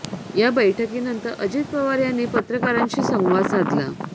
या बैठकीनंतर अजित पवार यांनी पत्रकारांशी संवाद साधला